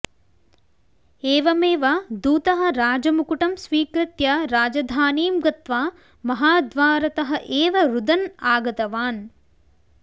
एवमेव दूतः राजमुकुटं स्वीकृत्य राजधानीं गत्वा महाद्वारतः एव रुदन् आगतवान्